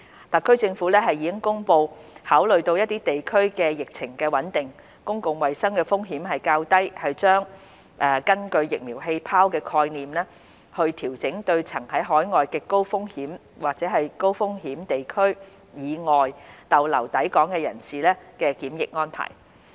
特區政府亦已公布考慮到一些地區的疫情穩定，公共衞生風險較低，政府將根據"疫苗氣泡"的概念，調整對曾在海外極高及甚高風險地區以外逗留的抵港人士的檢疫安排。